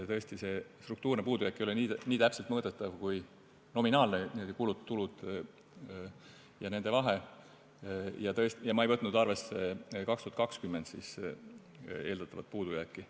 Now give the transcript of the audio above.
Tõesti, struktuurne puudujääk ei ole nii täpselt mõõdetav kui nominaalne, kulud-tulud ja nende vahe, ja ma ei võtnud arvesse 2020. aasta eeldatavat puudujääki.